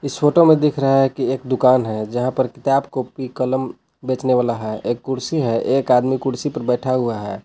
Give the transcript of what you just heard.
इस फोटो में दिख रहा है कि एक दुकान है जहां पर किताब कॉपी कलम बेचने वाला है एक कुर्सी है एक आदमी कुर्सी पे बैठा हुआ है।